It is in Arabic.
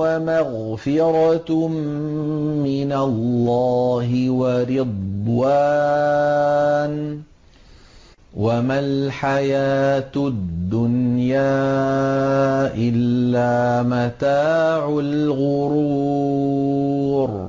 وَمَغْفِرَةٌ مِّنَ اللَّهِ وَرِضْوَانٌ ۚ وَمَا الْحَيَاةُ الدُّنْيَا إِلَّا مَتَاعُ الْغُرُورِ